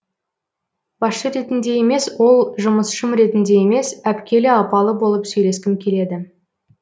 басшы ретінде емес ол жұмысшым ретінде емес әпкелі апалы болып сөйлескім келеді